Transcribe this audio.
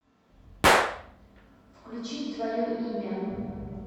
включить твое имя